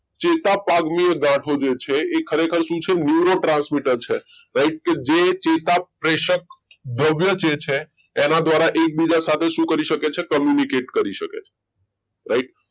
ચેતાપની ગાંઠો જે છે એ ખરેખર શું છે neuro transmitters છે કે રાઈટ કે જે ચેતાપ્રેશર ભવ્ય જે છે એના દ્વારા એકબીજા સાથે શું કરી શકે છે communicate કરી શકે છે right